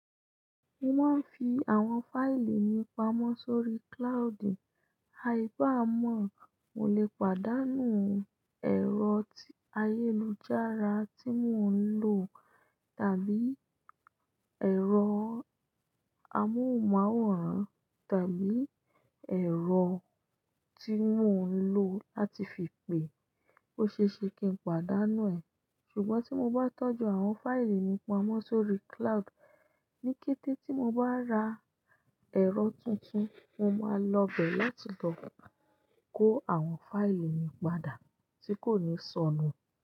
Mo máa ń fi àwọn fáìlì mi pamọ́ sórí cloud, aì bá mọ̀, mo lè pàdánù ẹ̀rọ ti ayélujára tí mò ń lò tàbí ẹ̀rọ amóhùnmáwòrán tàbí ẹ̀rọ tí mò ń lò láti fi pè, ó ṣe é ṣe kí n pàdánù ẹ. Ṣùgbọ́n tí mo bá tọ́jú àwọn fáìlì mi pamọ́ sórí cloud, ní kété tí mo bá ra ẹ̀rọ tuntun, mo máa lọ bẹ̀ láti lọ kó àwọn fáìlì mi padà tí kò ní sọnù.